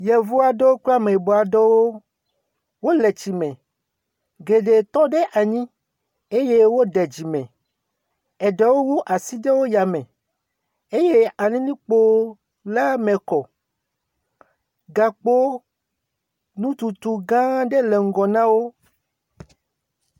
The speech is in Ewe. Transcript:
Yevu aɖewo kple ame yibɔ aɖewo wole tsi me. Geɖe tɔ ɖe anyi eye woɖe dzi. Eɖewo wu asi ɖe aya me. Eye alilɛ̃kpo la me kɔ. Gakpo nututu gã aɖe le ŋgɔ na wó.